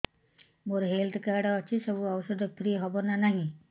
ମୋର health card ଅଛି ସବୁ ଔଷଧ ଫ୍ରି ହବ ନା ନାହିଁ